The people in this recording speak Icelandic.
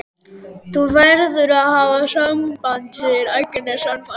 Þú verður að hafa samband, segir Agnes sannfærandi.